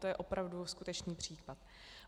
- To je opravdu skutečný případ.